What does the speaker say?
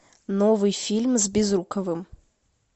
новый фильм с безруковым